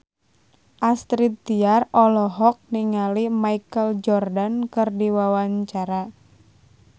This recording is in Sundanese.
Astrid Tiar olohok ningali Michael Jordan keur diwawancara